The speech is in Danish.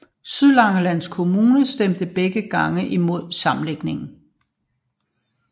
Sydlangeland Kommune stemte begge gange imod sammenlægning